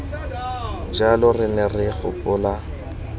jalo re ne re gopola